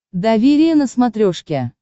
доверие на смотрешке